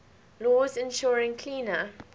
laws ensuring cleaner